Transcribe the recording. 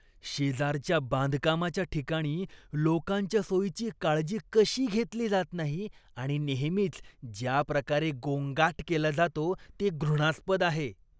शेजारच्या बांधकामाच्या ठिकाणी लोकांच्या सोयीची काळजी कशी घेतली जात नाही आणि नेहमीच ज्या प्रकारे गोंगाट केला जातो, ते घृणास्पद आहे.